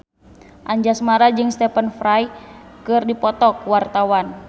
Anjasmara jeung Stephen Fry keur dipoto ku wartawan